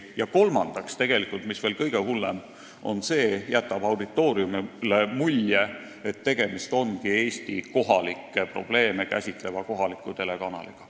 Ja kolmandaks, mis veel kõige hullem, see jätab auditooriumile mulje, et tegemist ongi Eesti kohalikke probleeme käsitleva kohaliku telekanaliga.